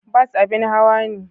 Bas abin hawa ne.